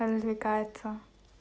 развлекается